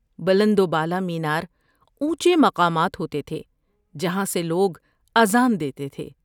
بلند و بالا مینار اونچے مقامات ہوتے تھے جہاں سے لوگ اذان دیتے تھے۔